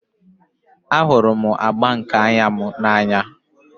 Ahụrụ m agba nke anya m n'anya